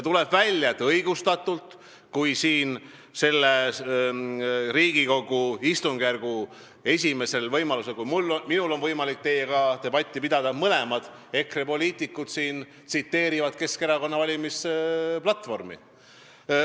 Tuleb välja, et õigustatult, sest Riigikogu istungjärgul, esimesel võimalusel, kui minul on võimalik teiega debatti pidada, kaks EKRE poliitikut tsiteerivad Keskerakonna valimisplatvormi.